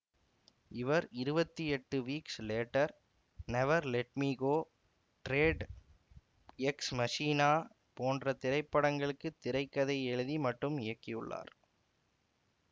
இவர் இருவத்தி எட்டு weeks later never let me go Dredd ex machina போன்ற திரைப்படங்களுக்கு திரை கதை எழுதி மற்றும் இயக்கியுள்ளார்